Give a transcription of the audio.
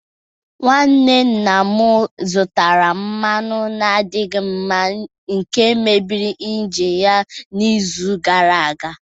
Nwanne nna m zụtara mmanụ na-adịghị mma nke mebiri injini ya n'izu gara aga.